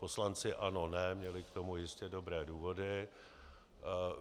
Poslanci ANO NE měli k tomu jistě dobré důvody.